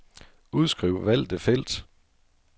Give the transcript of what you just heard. Udskriv valgte felt.